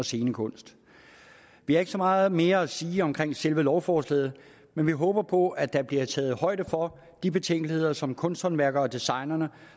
og scenekunst vi har ikke så meget mere at sige om selve lovforslaget men vi håber på at der bliver taget højde for de betænkeligheder som kunsthåndværkerne og designerne